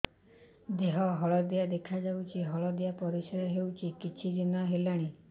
ଦେହ ହଳଦିଆ ଦେଖାଯାଉଛି ହଳଦିଆ ପରିଶ୍ରା ହେଉଛି କିଛିଦିନ ହେଲାଣି